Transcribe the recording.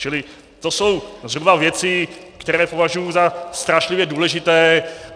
Čili to jsou zhruba věci, které považuji za strašlivě důležité.